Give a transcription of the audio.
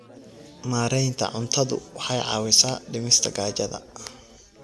Maareynta cuntadu waxay caawisaa dhimista gaajada.